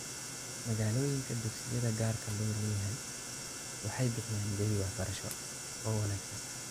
Magaalooyinka, dugsiyada gaarka loo leeyahay waxay bixiyaan jawi waxbarasho oo wanaagsan.